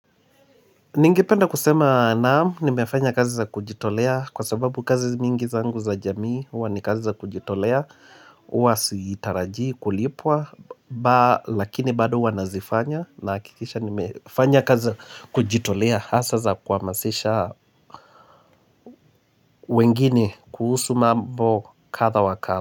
Ningependa kusema naam, nimefanya kazi za kujitolea kwa sababu kazi mingi zangu za jamii, uwa ni kazi za kujitolea, huwa sitarajii kulipwa, lakini bado huwa nazifanya nahakikisha nimefanya kazi za kujitolea hasa za kuhamazisha wengine kuhusu mambo kadha wa kadha.